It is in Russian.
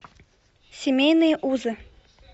семейные узы